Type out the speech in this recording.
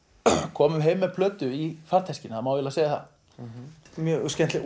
komum heim með plötu í farteskinu það má eiginlega segja það mjög skemmtilegt